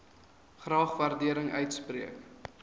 graag waardering uitspreek